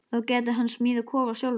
Þá gæti hann smíðað kofa sjálfur.